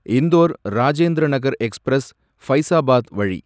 Indore Rajendra Nagar express Faizabad வழி